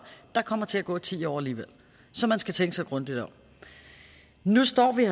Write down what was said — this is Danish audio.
der kommer til at gå ti år alligevel så man skal tænke sig grundigt om nu står vi